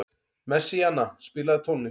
Messíana, spilaðu tónlist.